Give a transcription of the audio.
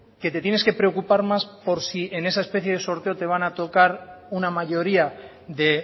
que te tienes que preocupar más por si en esa especie de sorteo te van a tocar una mayoría de